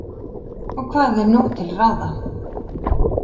Og hvað er nú til ráða?